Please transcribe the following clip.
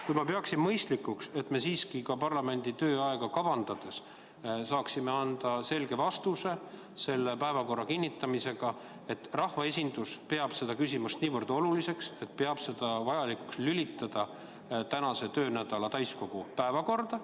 Kuid ma pean mõistlikuks, et me siiski parlamendi tööaega kavandades saaksime anda selle päevakorra kinnitamisega selge signaali, et rahvaesindus peab seda küsimust nii oluliseks, et peab vajalikuks lülitada see selle töönädala täiskogu päevakorda.